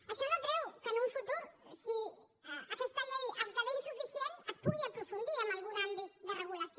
això no treu que en el futur si aquesta llei esdevé insuficient es pugui aprofundir en algun àmbit de regulació